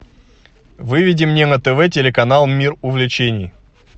выведи мне на тв телеканал мир увлечений